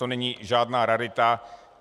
To není žádná rarita.